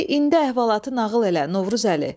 De indi əhvalatı nağıl elə Novruzəli.